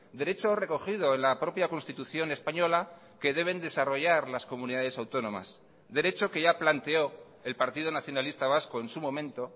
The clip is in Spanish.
derecho recogido en la propia constitución española que deben desarrollar las comunidades autónomas derecho que ya planteó el partido nacionalista vasco en su momento